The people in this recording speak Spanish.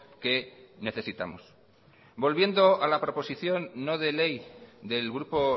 que necesitamos volviendo a la proposición no de ley del grupo